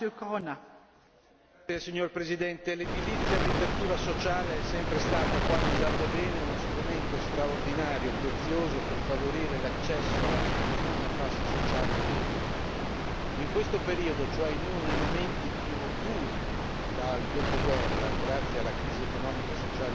Signora Presidente, onorevoli colleghi, l'edilizia abitativa sociale è sempre stata quando usata bene uno strumento straordinario, prezioso per favorire l'accesso all'abitazione a fasce sociali deboli. In questo periodo, cioè in uno dei momenti più duri dal dopoguerra grazie alla crisi economica e sociale di cui tutti noi conosciamo,